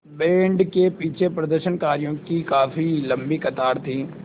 band के पीछे प्रदर्शनकारियों की काफ़ी लम्बी कतार थी